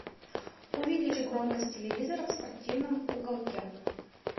увеличь громкость телевизора в спортивном уголке